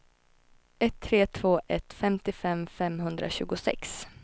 ett tre två ett femtiofem femhundratjugosex